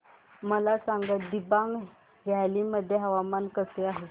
मला सांगा दिबांग व्हॅली मध्ये हवामान कसे आहे